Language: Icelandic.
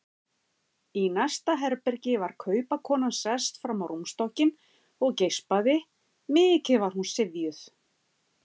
Í næsta herbergi var kaupakonan sest fram á rúmstokkinn og geispaði, mikið var hún syfjuð.